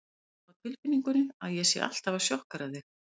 Ég hef á tilfinningunni að ég sé alltaf að sjokkera þig.